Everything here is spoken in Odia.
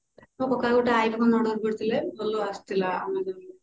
ମୋ କକା ଗୋଟେ iphone order କରିଥିଲେ ଭଲ ଆସିଥିଲା amazon ରୁ